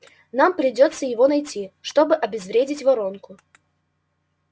нам придётся его найти чтобы обезвредить воронку